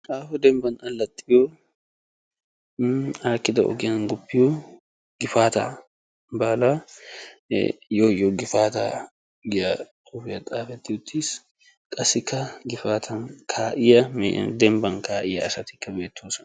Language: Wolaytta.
aaho dembban allaxiyoo aakkida ogiyaan guppiyoo nuuni aakkida ogiyaa guppiyoo Gifataa baalaa ee yoo yoo gifataa giyaa xuufiyaa xaafetti uttiis qassikka dembban ka'iyaa asatikka beettoosona.